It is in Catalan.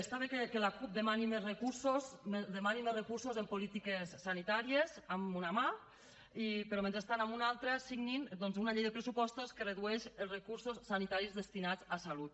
està bé que la cup demani més recursos en polítiques sanitàries amb una mà però que mentrestant amb una altra signin doncs una llei de pressupostos que redueix els recursos sanitaris destinats a salut